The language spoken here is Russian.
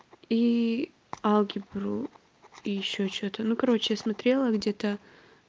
и алгебру и ещё что-то ну короче я смотрела где-то